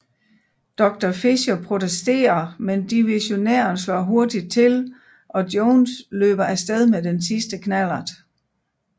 Doctor Fischer protesterer men divissionæren slår hurtigt til og Jones løber af sted med den sidste knallert